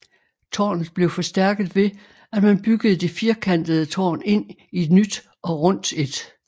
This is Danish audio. Tårnet blev forstærket ved at man byggede det firkantete tårn ind i et nyt og rundt et